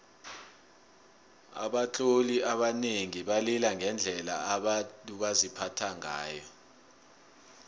abatloli abanengi balila ngendlela abantu baziphatha ngayo